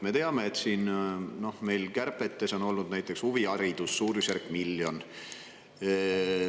Me teame, et näiteks huvihariduse on olnud suurusjärgus miljon.